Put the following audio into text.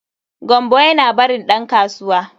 Gambo yana barin dan kasuwa.